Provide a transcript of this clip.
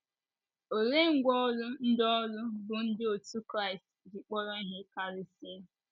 Olee ngwá ọrụ ndị ọrụ bụ́ ndị otú Kraịst ji kpọrọ ihe karịsịa?